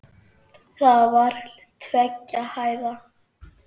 Það var tveggja hæða.